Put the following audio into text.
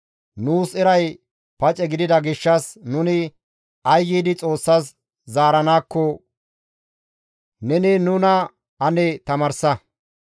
«Nuus eray pace gidida gishshas nuni ay giidi Xoossas zaaranaakko neni nuna ane tamaarsa.